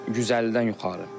150-dən yuxarı.